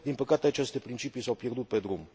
Din păcate, aceste principii s au pierdut pe drum.